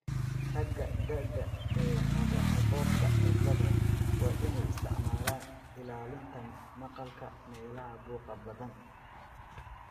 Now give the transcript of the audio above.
Ragga da'da yar ee qaba Alport cilada waa inay isticmaalaan ilaalinta maqalka meelaha buuqa badan.